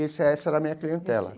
Esse essa era a minha clientela.